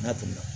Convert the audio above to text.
N'a tɛmɛna